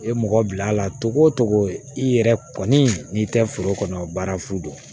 I ye mɔgɔ bil'a la togo togo i yɛrɛ kɔni n'i tɛ foro kɔnɔ baara fu don